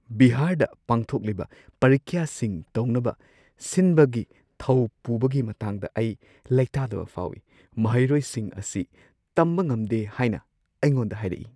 ꯕꯤꯍꯥꯔꯗ ꯄꯥꯡꯊꯣꯛꯂꯤꯕ ꯄꯔꯤꯈ꯭ꯌꯥꯁꯤꯡ ꯇꯧꯅꯕ ꯁꯤꯟꯕꯒꯤ ꯊꯧ ꯄꯨꯕꯒꯤ ꯃꯇꯥꯡꯗ ꯑꯩ ꯂꯩꯇꯥꯗꯕ ꯐꯥꯎꯏ ꯫ ꯃꯍꯩꯔꯣꯏꯁꯤꯡ ꯑꯁꯤ ꯇꯝꯕ ꯉꯝꯗꯦ ꯍꯥꯏꯅ ꯑꯩꯉꯣꯟꯗ ꯍꯥꯏꯔꯛꯏ꯫